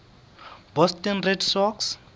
boston red sox